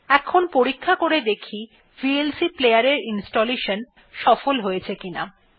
এখন পরীক্ষা করে দেখা যাক ভিএলসি প্লেয়ার এর ইনস্টলেশন সফল হয়েছে কিনা